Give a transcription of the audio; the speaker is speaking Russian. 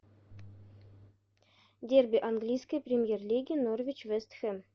дерби английской премьер лиги норвич вест хэм